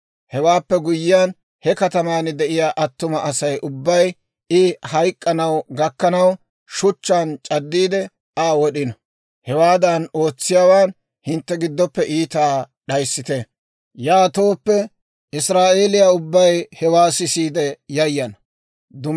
Hewaappe guyyiyaan, he kataman de'iyaa attuma Asay ubbay I hayk'k'ana gakkanaw, shuchchaan c'addiide Aa wod'ino. Hewaadan ootsiyaawaan hintte giddoppe iitaa d'ayissite. Yaatooppe Israa'eeliyaa ubbay hewaa sisiide yayana.